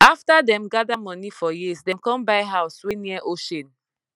after dem gather money for years dem com buy house wey near ocean